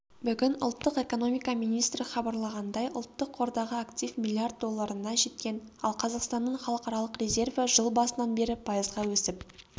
бүгін ұлттық экономика министрі хабарлағандай ұлттық қордағы актив миллиард долларына жеткен ал қазақстанның халықаралық резерві жыл басынан бері пайызға өсіп